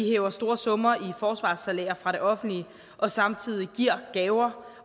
hæver store summer i forsvarssalærer fra det offentlige og samtidig giver gaver